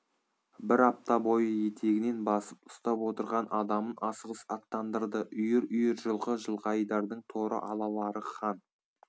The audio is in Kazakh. бір апта бойы етегінен басып ұстап отырған адамын асығыс аттандырды үйір-үйір жылқы жылқайдардың торы алалары хан